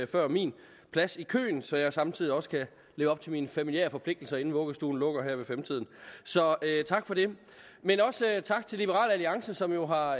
før min plads i køen så jeg samtidig også kan leve op til mine familiære forpligtelser inden vuggestuen lukker her ved sytten tiden så tak for det men også tak til liberal alliance som jo har